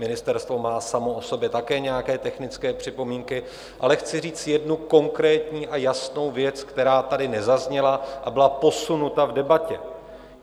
Ministerstvo má samo o sobě také nějaké technické připomínky, ale chci říct jednu konkrétní a jasnou věc, která tady nezazněla a byla posunuta v debatě.